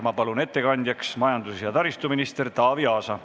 Ma palun ettekandjaks majandus- ja taristuminister Taavi Aasa.